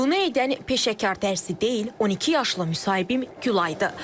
Bunu edən peşəkar dərzi deyil, 12 yaşlı müsahibim Gülaydır.